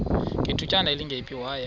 ngethutyana elingephi waya